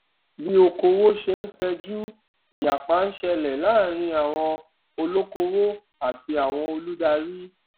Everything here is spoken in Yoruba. bí okòwò ṣe ń fẹjú ìyapa ń ṣẹlẹ láàárín àwon olokowo àti àwọn olùdarí